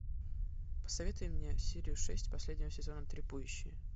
посоветуй мне серию шесть последнего сезона трипующие